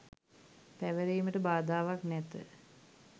පැවරීමට බාධාවක් නැත